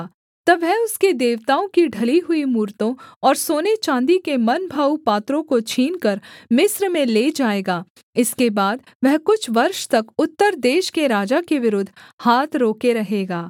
तब वह उसके देवताओं की ढली हुई मूरतों और सोनेचाँदी के मनभाऊ पात्रों को छीनकर मिस्र में ले जाएगा इसके बाद वह कुछ वर्ष तक उत्तर देश के राजा के विरुद्ध हाथ रोके रहेगा